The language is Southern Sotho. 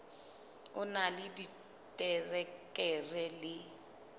o na le diterekere le